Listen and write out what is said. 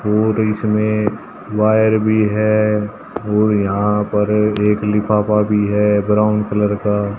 और इसमें वायर भी है और यहां पर एक लिफाफा भी है ब्राउन कलर का।